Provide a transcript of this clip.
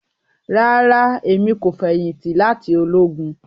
Rara, Emi ko feyinti lati ologun